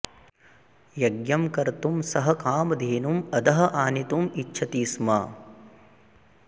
यज्ञं कर्तुं सः कामधेनुम् अधः आनेतुम् इच्छति स्म